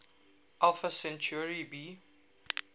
alpha centauri b